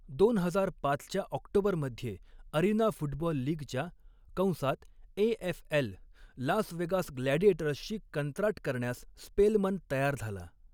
दोन हजार पाचच्या ऑक्टोबरमध्ये, अरिना फुटबाॅल लीगच्या कंसात एएफएल लास वेगास ग्लॅडिएटर्सशी कंत्राट करण्यास स्पेलमन तयार झाला.